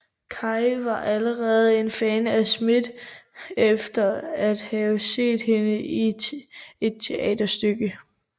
Kaye var allerede en fan af Smith efter at have set hende i et teaterstykke